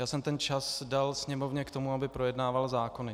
Já jsem ten čas dal Sněmovně k tomu, aby projednávala zákony.